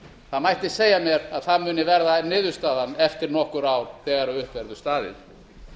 það mætti segja mér að það muni verða niðurstaðan eftir nokkur ár þegar upp verður staðið